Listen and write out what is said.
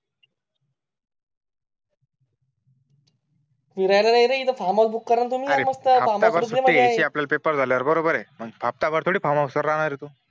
फिरायला नाही रे इथे फार्महाउस करा ना तुम्हीच अरे सुट्टी घ्यायची आहे आपल्याला पेपर झाल्यावर बरोबर आहे हफ्ता भर काय थोडी फार्महाउस वर राहणार आहे तू